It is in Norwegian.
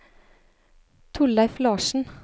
Torleiv Larssen